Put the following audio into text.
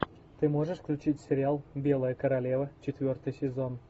ты можешь включить сериал белая королева четвертый сезон